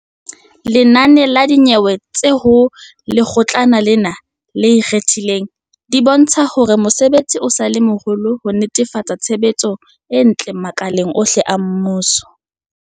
Lenane la dinyewe tse ho Lekgotlana lena le Ikgethileng, di bontsha hore mosebetsi o sa le moholo wa ho netefatsa tshebetso e ntle makaleng ohle a mmuso.